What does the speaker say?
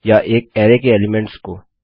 या एक अरैके एलीमेंट्स को